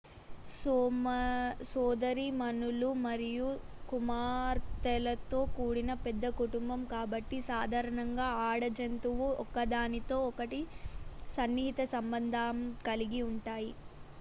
సోదరీమణులు మరియు కుమార్తెలతో కూడిన పెద్ద కుటుంబం కాబట్టి సాధారణంగా ఆడ జంతువులు ఒకదానితో ఒకటి సన్నిహిత సంబంధం కలిగి ఉంటాయి